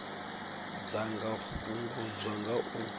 dza nga fhungudzwa nga u